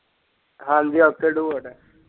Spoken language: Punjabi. ਹਾਂਜੀ ok do it